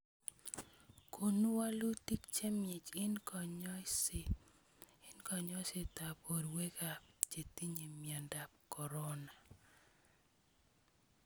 Koonu woluutik chemyaach eng konyoiseet boorweekaab chetiny'e myondab korona